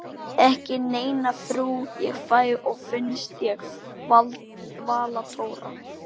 Ekki neina frú ég fæ og finnst ég varla tóra.